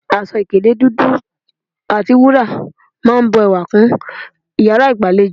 Aṣọ ìkélé dúdú àti wúrà máa n bu ewà kún iyàrá ìgbàlejò